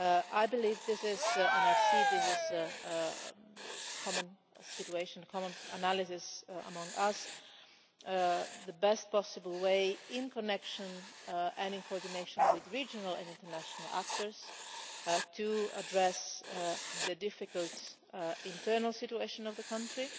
I believe this is and I see this as a common situation, a common analysis among us as the best possible way, in connection and in coordination with regional and international actors, to address the difficult internal situation of the country,